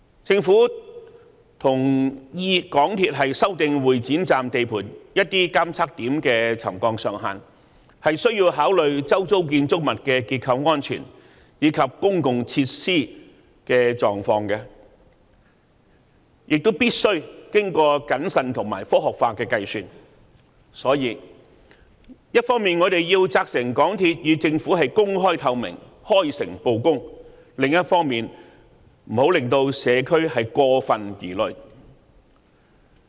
政府同意港鐵公司修訂會展站地盤一些監測點的沉降上限，須考慮周遭建築物的結構安全及公用設施的狀況，亦必須經過謹慎和科學化的計算，因此，我們一方面要責成港鐵公司對政府公開透明，開誠布公；另一方面，也不要令社區過分疑慮。